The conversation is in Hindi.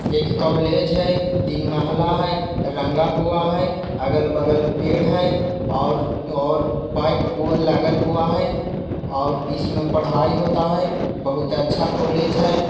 ये एक कॉलेज है तीन महला है रंगा हुआ है अगल बगल पेड़ है और और बाइक हो लागल हुआ है और इसमें पढाई होता है बहुत अच्छा कॉलेज है।